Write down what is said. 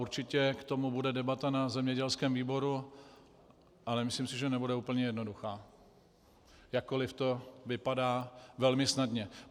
Určitě k tomu bude debata na zemědělském výboru a nemyslím si, že bude úplně jednoduchá, jakkoli to vypadá velmi snadně.